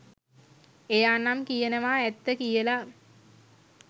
එයා නම් කියනවා ඇත්ත කියලා.